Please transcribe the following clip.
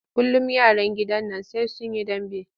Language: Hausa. Kullum yaran gidan nan sai sun yi dambe.